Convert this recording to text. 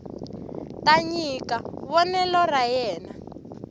ta nyika vonelo ra yena